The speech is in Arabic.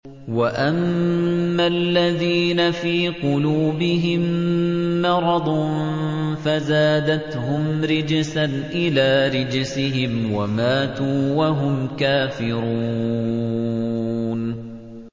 وَأَمَّا الَّذِينَ فِي قُلُوبِهِم مَّرَضٌ فَزَادَتْهُمْ رِجْسًا إِلَىٰ رِجْسِهِمْ وَمَاتُوا وَهُمْ كَافِرُونَ